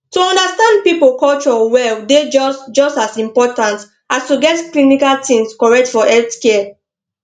to understand people culture well dey just just as important as to get clinical things correct for healthcare